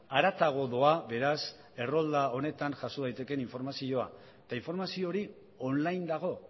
haratago doa beraz errolda honetan jaso daitekeen informazioa eta informazio hori online dago